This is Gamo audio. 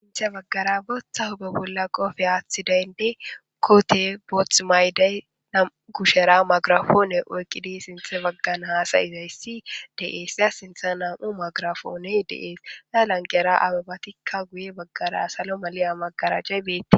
sinthe baggara booththa hube bolla qofe aaththi daynde koote boothmaydey namu gushera magrafoone oyqqidi sinthe baggan haasayizayssi de7esya sintha nam7u magrafoone deees la lanqera ababatikka guye baggara salo maliya magaraajcay biitte